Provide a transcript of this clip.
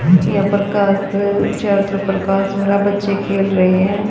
यहां परकाश चैत्र परकाश हो रहा है बच्चे खेल रहे हैं।